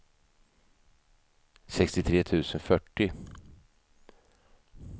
sextiotre tusen fyrtio